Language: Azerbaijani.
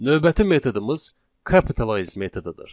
Növbəti metodumuz capitalize metodudur.